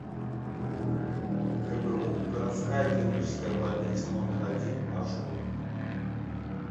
гбу городская клиническая больница номер один маршрут